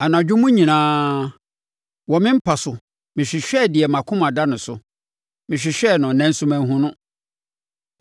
Anadwo mu nyinaa, wɔ me mpa so mehwehwɛɛ deɛ mʼakoma da no so; mehwehwɛɛ no, nanso manhunu no.